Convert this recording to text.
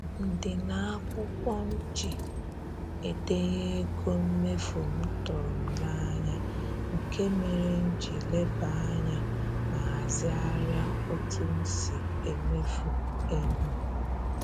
Ndịna akwụkwọ m ji edenye ego mmefu m tụrụ m n'anya, nke mere m ji lebe anya ma hazigharịa otu m si emefu ego